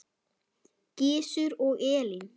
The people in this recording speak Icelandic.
Gizur og Elín.